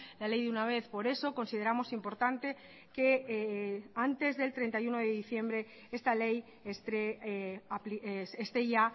la ley de una vez por eso consideramos importante que antes del treinta y uno de diciembre esta ley esté ya